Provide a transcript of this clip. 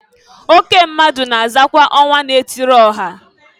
Oke mmadụ na azakwa ọnwa na-etiri ọha.